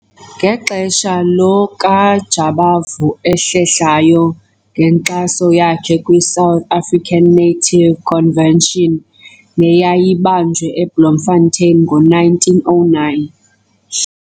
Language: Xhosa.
Ngexesha lo kaJabavu ahlehlayo ngenkxaso yakhe kwi-South African Native Convention, neyayibanjelwe eBloemfontein ngo-1909.